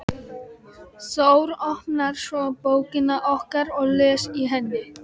Þór, opnar svo bókina okkar og les í henni.